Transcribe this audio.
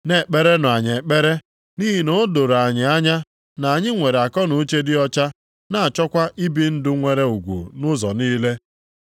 Na-ekperenụ anyị ekpere, nʼihi na o doro anyị anya na anyị nwere akọnuche dị ọcha na-achọkwa ibi ndụ nwere ugwu nʼụzọ niile.